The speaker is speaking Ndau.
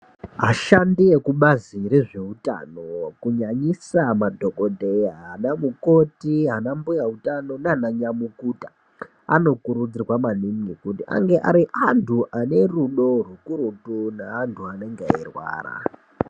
Ashandi ekubazi rezvehutano kunyanyisa madhokodheya ana mukoti ana mbuya utano nana nyamukuta anokurudzirwa maningi kuti ange Ari antu ane rudo kakurutu neantu anenge eirwara.